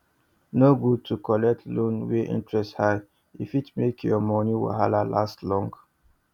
no good to collect loan wey interest high e fit make your money wahala last long